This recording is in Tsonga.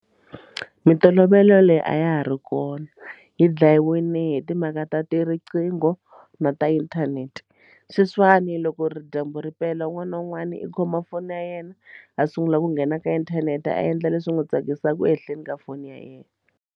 Mintolovelo leyi a ya ha ri kona yi dlayiwile hi timhaka ta ti riqingho na ta inthanete sweswiwani loko ri dyambu ri pela un'wana na un'wana i khoma foni ya yena ha sungula ku nghena ka inthanete a endla leswi wo tsakisaka ehenhleni ka foni ya yena.